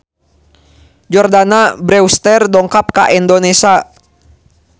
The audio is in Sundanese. Jordana Brewster dongkap ka Indonesia